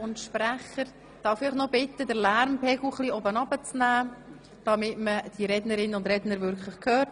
Darf ich Sie bitten, den Lärmpegel etwas zu senken, damit man die Rednerinnen und Redner hört?